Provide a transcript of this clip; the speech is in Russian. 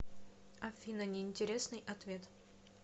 афина неинтересный ответ